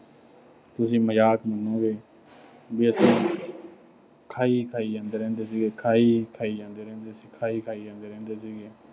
ਤੁਸੀਂ ਮਜ਼ਕ ਮੰਨੋਂਗੇ। ਵੀ ਅਸੀਂ ਖਾਈ-ਖਾਈ ਜਾਂਦੇ ਰਹਿੰਦੇ ਸੀਗੇ। ਖਾਈ-ਖਾਈ ਜਾਂਦੇ ਰਹਿੰਦੇ ਸੀਗੇ।